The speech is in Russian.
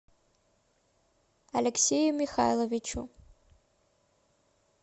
алексею михайловичу